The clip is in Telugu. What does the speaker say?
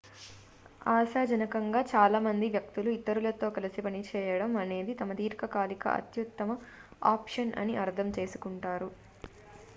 ఆశాజనకంగా చాలా మంది వ్యక్తులు ఇతరులతో కలిసి పనిచేయడం అనేది తమ దీర్ఘకాలిక అత్యుత్తమ ఆప్షన్ అని అర్థం చేసుకుంటారు